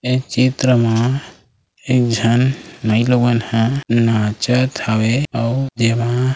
ए चित्र मा एक झन माई लोगन ह नचत हवे आउ ऐमा--